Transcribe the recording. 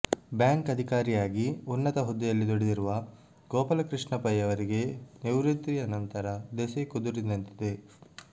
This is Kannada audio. ಬ್ಯಾಂಕ್ ಅಧಿಕಾರಿಯಾಗಿ ಉನ್ನತ ಹುದ್ದೆಯಲ್ಲಿ ದುಡಿದಿರುವ ಗೋಪಾಲಕೃಷ್ಣ ಪೈ ಅವರಿಗೆ ನಿವೃತ್ತಿಯ ನಂತರ ದೆಸೆ ಕುದುರಿದಂತಿದೆ